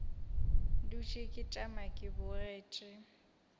dutše ke tšama ke bogetše